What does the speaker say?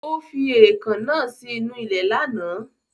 Ó fi èèkàn náà sí inú ilẹ̀ lánàá